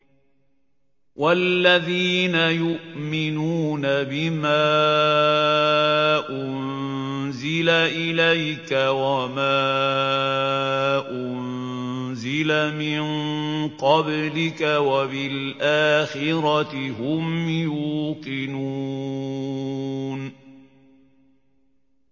وَالَّذِينَ يُؤْمِنُونَ بِمَا أُنزِلَ إِلَيْكَ وَمَا أُنزِلَ مِن قَبْلِكَ وَبِالْآخِرَةِ هُمْ يُوقِنُونَ